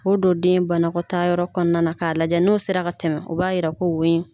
Ko don den banakɔta yɔrɔ kɔnɔna na k'a lajɛ n'o sera ka tɛmɛ, u b'a yira ko